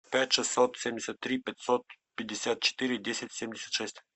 пять шестьсот семьдесят три пятьсот пятьдесят четыре десять семьдесят шесть